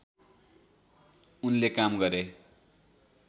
उनले काम गरे